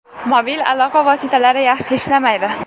Mobil aloqa vositalari yaxshi ishlamaydi.